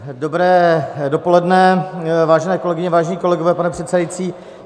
Dobré dopoledne, vážené kolegyně, vážení kolegové, pane předsedající.